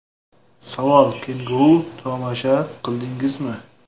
Savol: Kenguru tomosha qildingizmi?